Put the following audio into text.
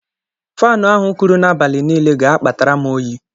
Faanụ ahụ kuru n'abalị niile ga-akpatara m oyi.